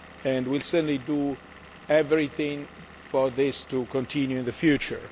We will certainly do everything for this to continue in the future.